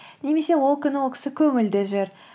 немесе ол күні ол кісі көңілді жүр